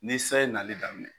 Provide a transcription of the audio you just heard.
Ni san ye nali daminɛ,